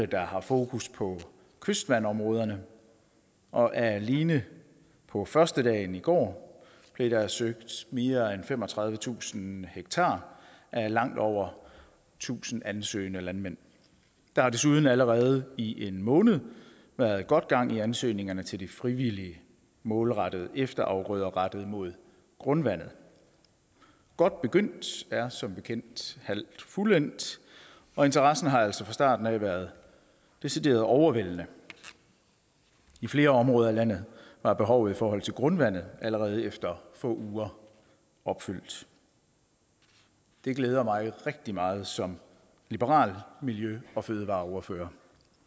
der har fokus på kystvandområderne og alene på førstedagen i går blev der søgt mere end femogtredivetusind ha af langt over tusind ansøgende landmænd der har desuden allerede i en måned været godt gang i ansøgningerne til de frivillige målrettede efterafgrøder rettet mod grundvandet godt begyndt er som bekendt halvt fuldendt og interessen har altså fra starten af været decideret overvældende i flere områder af landet er behovet i forhold til grundvandet allerede efter få uger opfyldt det glæder mig rigtig meget som liberal miljø og fødevareordfører